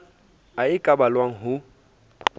a e ka ballwang ho